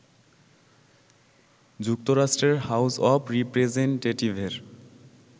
যুক্তরাষ্ট্রের house of রিপ্রেসেন্টেটিভের